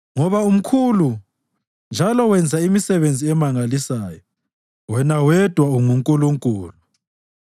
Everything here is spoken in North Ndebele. Ngoba umkhulu njalo wenza imisebenzi emangalisayo; wena wedwa unguNkulunkulu.